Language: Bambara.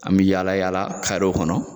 An mi yaalayaala karew kɔnɔ